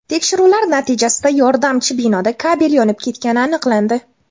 Tekshiruv natijasida yordamchi binoda kabel yonib ketgani aniqlandi.